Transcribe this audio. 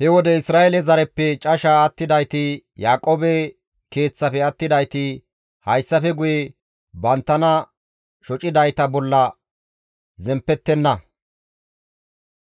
He wode Isra7eele zareppe casha attidayti, Yaaqoobe keeththafe attidayti hayssafe guye banttana shocidayta bolla zemppettenna;